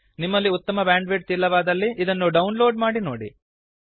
ನಿಮಲ್ಲಿ ಉತ್ತಮ ಬ್ಯಾಂಡ್ವಿಡ್ತ್ ಇಲ್ಲವಾದಲ್ಲಿ ಇದನ್ನು ಡೌನ್ ಲೋಡ್ ಮಾಡಿ ನೋಡಿ